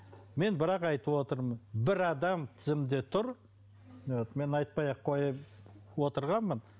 мен бірақ айтып отырмын бір адам тізімде тұр вот мен айтпай ақ қояйын отырғанмын